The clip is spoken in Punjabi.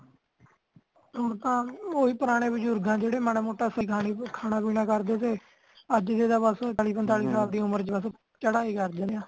ਹੁੰਤਾ ਉਹੀ ਪੁਰਾਣੇ ਬਜ਼ੁਰਘ ਆ ਜੇੜੇ ਮਾੜਾ ਮੋਟਾ ਸਿਆਣੀ ਕੂ ਖਾਣਾ ਪੀਣਾ ਕਰਦੇ ਸੀ ਅੱਜ ਜੇੜਾ ਬਸ ਚਾਹਲੀ ਪੰਤਾਲੀ ਸਾਲ ਵਿੱਚ ਚੜਾਈ ਕਰਜਾਂਦੇ ਆ